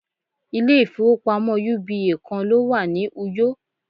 ilé ifowópamọ́ uba kan lo wa ni uyo